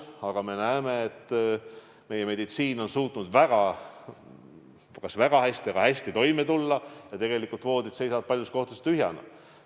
Aga me näeme, et meie meditsiin on suutnud päris hästi toime tulla ja tegelikult seisavad voodid paljudes kohtades tühjana.